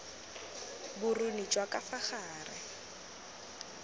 boruni jwa ka fa gare